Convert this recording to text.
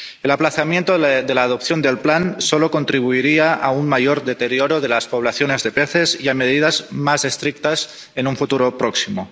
El aplazamiento de la aprobación del plan solo contribuiría a un mayor deterioro de las poblaciones de peces y a medidas más estrictas en un futuro próximo.